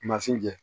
Mansin kɛ